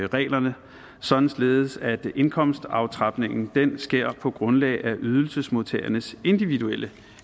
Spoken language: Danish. reglerne således at indkomstaftrapningen sker på grundlag af ydelsesmodtagernes individuelle